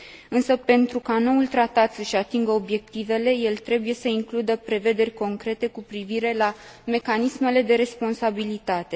Însă, pentru ca noul tratat să își atingă obiectivele, el trebuie să includă prevederi concrete cu privire la mecanismele de responsabilitate.